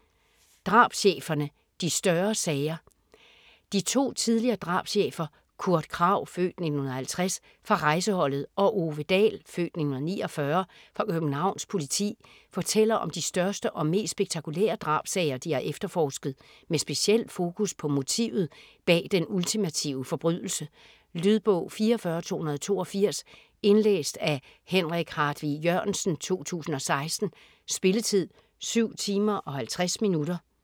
Drabscheferne - de største sager De to tidligere drabschefer Kurt Kragh (f. 1950) fra Rejseholdet og Ove Dahl (f. 1949) fra Københavns Politi fortæller om de største og mest spektakulære drabssager, de har efterforsket - med speciel fokus på motivet bag den ultimative forbrydelse. Lydbog 44282 Indlæst af Henrik Hartvig Jørgensen, 2016. Spilletid: 7 timer, 50 minutter.